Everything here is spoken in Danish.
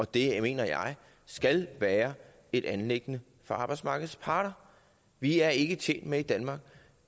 det mener jeg skal være et anliggende for arbejdsmarkedets parter vi er ikke tjent med i danmark